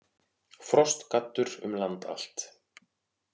Frostgaddur um land allt